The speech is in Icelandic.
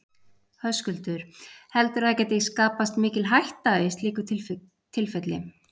Höskuldur: Heldurðu að það gæti skapast mikil hætta í slíku tilfelli?